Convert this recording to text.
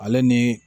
Ale ni